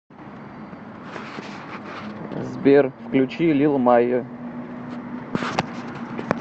сбер включи лил майо